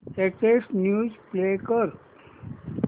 latest news play कर